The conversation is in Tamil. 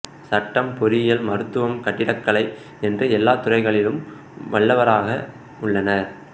சட்டம் பொறியியல் மருத்துவம் கட்டிடக்கலை என்று எல்லா துறைகளிலும் வல்லவர்களாக உள்ளனர்